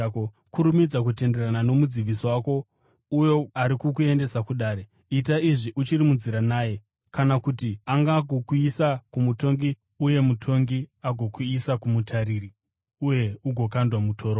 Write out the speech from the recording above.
“Kurumidza kutenderana nomudzivisi wako uyo ari kukuendesa kudare. Ita izvi uchiri munzira naye, kana kuti angangokuisa kumutongi uye mutongi agokuisa kumutariri, uye ugokandwa mutorongo.